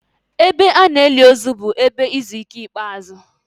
Ebe a na-eli ozu bụ ebe izu ike ikpeazụ.